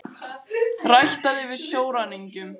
Réttað yfir sjóræningjum